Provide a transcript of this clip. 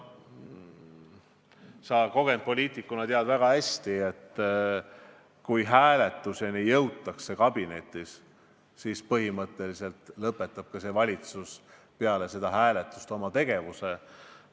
Sa kogenud poliitikuna tead väga hästi, et kui kabinetis jõutakse hääletuseni, siis põhimõtteliselt lõpetab see valitsus peale seda hääletust tegevuse.